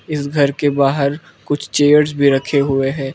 इस घर के बाहर कुछ चेयर्स भी रखे हुए हैं।